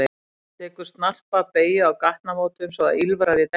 Hann tekur tekur snarpa beygju á gatnamótum svo að ýlfrar í dekkjunum.